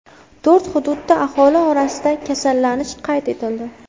To‘rt hududda aholi orasida kasallanish qayd etildi.